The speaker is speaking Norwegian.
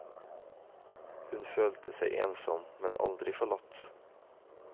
Hun følte seg ensom, men aldri forlatt.